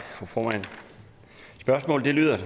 spørgsmålet er